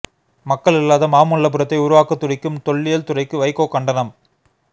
மக்கள் இல்லாத மாமல்லபுரத்தை உருவாக்கத் துடிக்கும் தொல்லியல் துறைக்கு வைகோ கண்டனம்